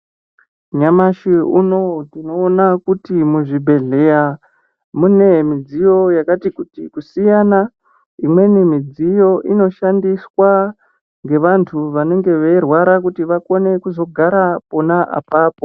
Nyamashi unouyu tinoona kuti muzvibhedhlera mune midziyo yakati kuti kusiyana imweni midziyo inoshandiswa ngevantu vanenge veirwara kuti vakone kuzogara ipona ipapo .